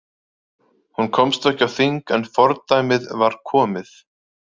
Hún komst ekki á þing en fordæmið var komið.